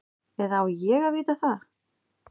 Eða á ég að vita það?